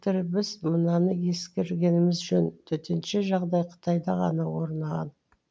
біз мынаны ескергеніміз жөн төтенше жағдай қытайда ғана орнаған